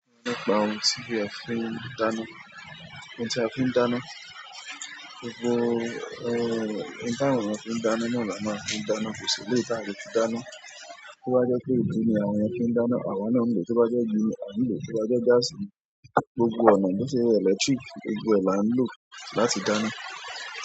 Nípa ohun tí a fi ń dáná, ohun tí a fi ń dáná, gbogbo eh ohun tí àwọn ènìyàn fi ń dáná ní ọ̀la máa fi dáná kò sí ilé tí a kò fi dáná. Bo bá jẹ́ pé ilé ni àwọn ènìyàn fi ń dáná, àwọn náà ń lò. Bo bá jẹ́ igi, a ń lò. Bo bá jẹ́ gaasi, gbogbo ọ̀nà bó ṣe electric, gbogbo ẹ̀ lá ń lò láti dáná.